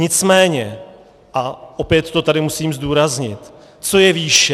Nicméně, a opět to tady musím zdůraznit - co je výše?